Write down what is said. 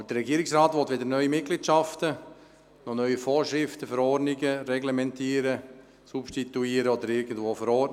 Aber der Regierungsrat will weder neue Mitgliedschaften eingehen noch neue Vorschriften und Verordnungen reglementieren, substituieren oder irgendwo verankern.